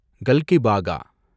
கல்கிபாகா